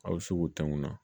A bɛ se k'o tangun na